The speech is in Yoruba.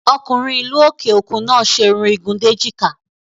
Ọkùnrin ìlú òkè òkun náà ṣe Irun ìgùn déjìká